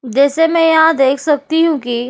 जैसे मैं यहाँ देख सकती हूँ कि --